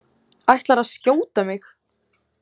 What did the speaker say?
Ætlarðu að skjóta mig?